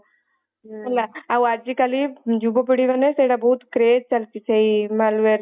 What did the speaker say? ହେଲା ଆଉ ଆଜି କଲି ଯୁବପିଢିମାନେ ସେଇଟା ସବୁ craze ଚାଲିଛି malwar